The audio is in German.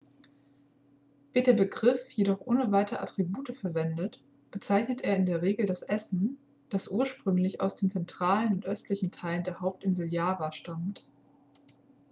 wird der begriff jedoch ohne weitere attribute verwendet bezeichnet er in der regel das essen das ursprünglich aus den zentralen und östlichen teilen der hauptinsel java stammt